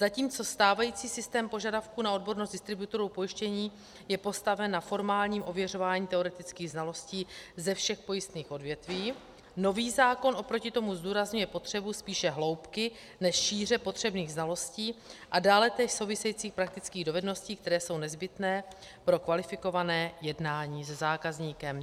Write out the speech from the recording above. Zatímco stávající systém požadavku na odbornost distributorů pojištění je postaven na formálním ověřování teoretických znalostí ze všech pojistných odvětví, nový zákon oproti tomu zdůrazňuje potřebu spíše hloubky než šíře potřebných znalostí a dále též souvisejících praktických dovedností, které jsou nezbytné pro kvalifikované jednání se zákazníkem.